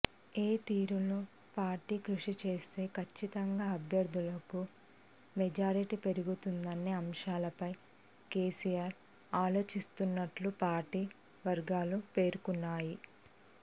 ఏ తీరులో పార్టీ కృషి చేస్తే కచ్చితంగా అభ్యర్థులకు మెజారిటీ పెరుగుతుందనే అంశాలపై కెసిఆర్ ఆలోచిస్తున్నట్లు పార్టీ వర్గాలు పేర్కొన్నాయి